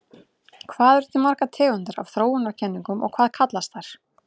Hvað eru til margar tegundir af þróunarkenningum og hvað kallast þær?